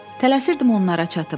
Tələsirdim onlara çatım.